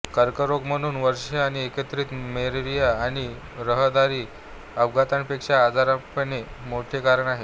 कर्करोग म्हणून वर्षे आणि एकत्रित मलेरिया आणि रहदारी अपघातांपेक्षा आजारपणाचे मोठे कारण आहे